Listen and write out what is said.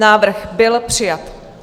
Návrh byl přijat.